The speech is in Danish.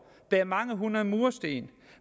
bære mange hundrede mursten og